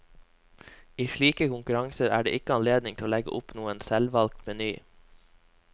I slike konkurranser er det ikke anledning til å legge opp noen selvvalgt meny.